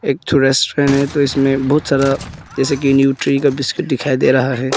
एक ठो रेस्टोरेंट है तो इसमें बहुत सारा जैसे कि न्यूट्री का बिस्किट दिखाई दे रहा है।